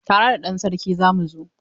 Tare da ɗan sarki za mu zo.